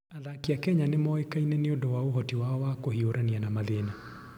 Athaki a Kenya nĩ moĩkaine nĩ ũndũ wa ũhoti wao wa kũhiũrania na mathĩna.